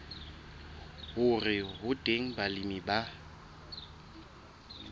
hore ho teng balemi ba